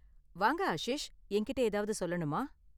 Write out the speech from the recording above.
வாங்க ஆஷிஷ், என்கிட்ட ஏதாவது சொல்லனுமா?